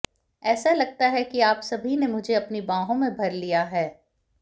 ऐसा लगता है कि आप सभी ने मुझे अपनी बाहों में भर लिया है